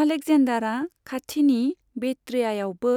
आलेकजेन्दारआ खाथिनि बेक्ट्रियाआवबो